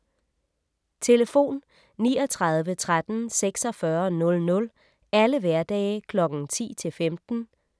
Telefon: 39 13 46 00 - alle hverdage Kl. 10-15